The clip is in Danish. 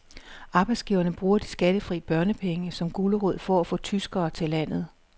Arbejdsgiverne bruger de skattefri børnepenge som gulerod for at få tyskere til landet.